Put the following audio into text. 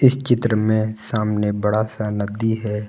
इस चित्र में सामने बड़ा सा नदी है।